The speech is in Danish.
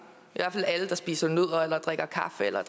i hvert fald alle der spiser nødder og drikker kaffe eller